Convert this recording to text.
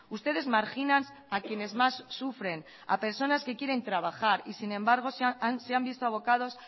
ustedes marginan a quienes más sufren a personas que quieren trabajar y sin embargo se han visto abocados